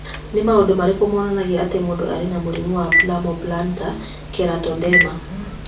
Nĩ maũndũ marĩkũ monanagia atĩ mũndũ arĩ na mũrimũ wa Palmoplantar keratoderma?